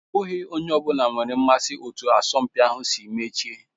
Ọ bụghị onye ọ bụla nwere mmasị na etu asọmpi ahụ si mechie.